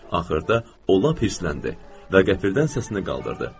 Axırda o lap hirsləndi və qəfildən səsini qaldırdı.